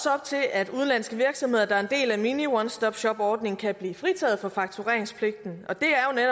at udenlandske virksomheder der er en del af mini one stop shop ordningen kan blive fritaget for faktureringspligten